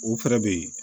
O fɛnɛ bɛ ye